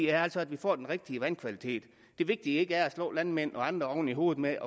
er altså at vi får den rigtige vandkvalitet det vigtige er ikke at slå landmænd og andre oven i hovedet med